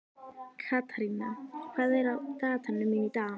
Katharina, hvað er á dagatalinu mínu í dag?